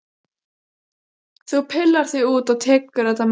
Þú pillar þig út og tekur þetta með þér!